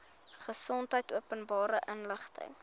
gesondheid openbare inligting